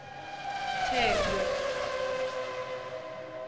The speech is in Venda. thengwe